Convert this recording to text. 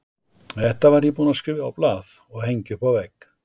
Þetta var ég búinn að skrifa á blað og hengja upp á vegg.